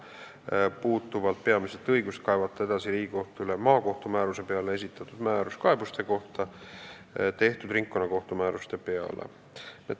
See puudutab peamiselt õigust kaevata edasi Riigikohtule maakohtu määruse peale esitatud määruskaebuste kohta tehtud ringkonnakohtu määruste peale.